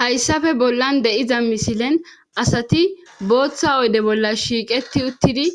hayssafe bollan de7iza misilen asati booththa oyde bolla shiiqeti uttidi